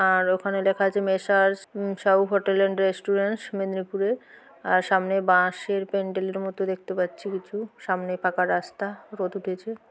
আর ওখানে লেখা আছে messrs Sahu hotel and restaurant মেদনীপুরে আর সামনে বাঁশের প্যান্ডেলের মতো দেখতে পাচ্ছি কিছু সামনে পাকা রাস্তা রোদ উঠেছে।